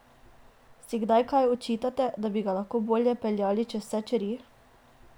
Si kdaj kaj očitate, da bi ga lahko bolje peljali čez vse čeri?